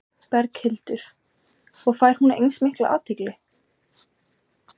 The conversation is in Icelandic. Berghildur: Og fær hún eins mikla athygli?